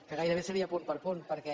que gairebé seria punt per punt perquè